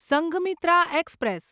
Sanghamitra express